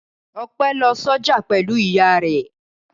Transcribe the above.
Ọpẹ́ lọ sọ́jà pẹ̀lú ìyá rẹ̀.